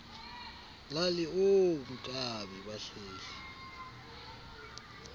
lali oonkabi bahleli